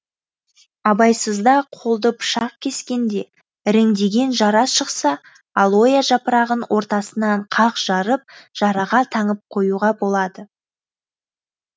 абайсызда қолды пышақ кескенде іріңдеген жара шықса алоэ жапырағын ортасынан қақ жарып жараға таңып қоюға болады